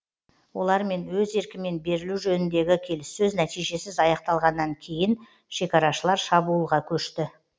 олармен өз еркімен берілу жөніндегі келіссөз нәтижесіз аяқталғаннан кейін шекарашылар шабуылға көшті